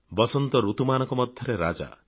ବସନ୍ତ ଋତୁମାନଙ୍କ ମଧ୍ୟରେ ରାଜା